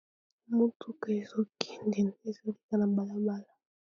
motuka ezokende ezoleka na balabala